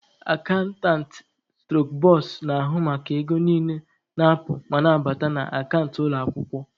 Akantantị/ bọsa na-ahụ maka ego niile na-apụ ma na-abata na akant ụlọ akwụkwọ.